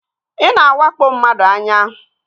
Ị na-awakpo mmadụ anya